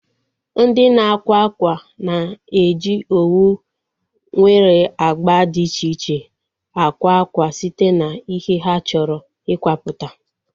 Ndị na-akwa ákwà na-eji owu nwere agba dị iche iche akwa akwa site na ihe ha chọrọ ikwaputa